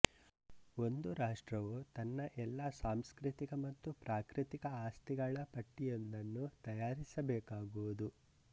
ಒಂದು ರಾಷ್ಟ್ರವು ತನ್ನ ಎಲ್ಲಾ ಸಾಂಸ್ಕೃತಿಕ ಮತ್ತು ಪ್ರಾಕೃತಿಕ ಆಸ್ತಿಗಳ ಪಟ್ಟಿಯೊಂದನ್ನು ತಯಾರಿಸಬೇಕಾಗುವುದು